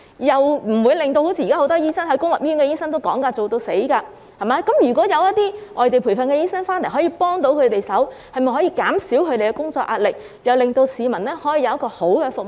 現時公立醫院醫生工作"做到死"，如果有外地培訓醫生提供協助，便可以減低本地培訓醫生的工作壓力，兼令市民獲得良好的服務。